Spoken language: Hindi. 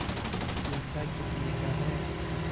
यह चिमटा कितने का है